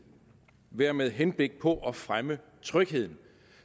være med henblik på at fremme trygheden